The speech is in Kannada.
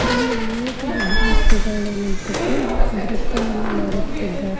ಇಲ್ಲಿ ಅನೇಕ ವಿದ್ಯಾರ್ಥಿಗಳು ನಿಂತುಕೊಂಡು ನೃತ್ಯವನ್ನು ಮಾಡುತ್ತಿದ್ದಾರೆ.